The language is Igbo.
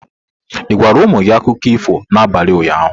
Ị gwara ụmụ gị akụkọ ifo n'abalị ụnyaahụ?